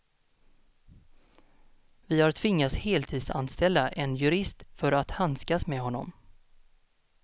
Vi har tvingats heltidsanställa en jurist för att handskas med honom.